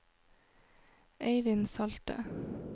Eirin Salte